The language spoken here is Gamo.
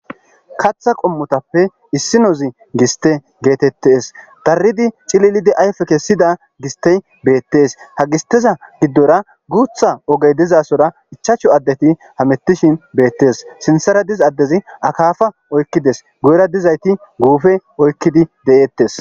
Katha qomozappe issinozi giste getetes dari cililidi ayfe kesida gistey betes ha gidora gutha ogey dizasora 5 adeti hamutishin betes sinthara diza adezi akafa oykides guyera dizayti gufe oykidi de'etes